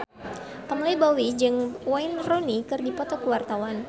Pamela Bowie jeung Wayne Rooney keur dipoto ku wartawan